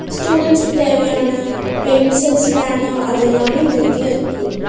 ஸ்டூடென்ஸுக்கு தேவையான பென்சில்ஸ் பேனா அது எல்லாமே இந்த கத்துல இருக்கு.